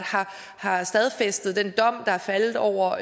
har stadfæstet den dom der er faldet over